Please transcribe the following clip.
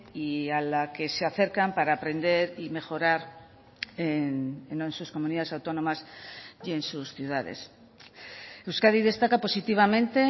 y a la que se acercan para aprender y mejorar en sus comunidades autónomas y en sus ciudades euskadi destaca positivamente